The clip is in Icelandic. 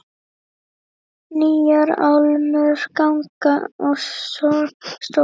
Nýjar álmur, gangar og stofur.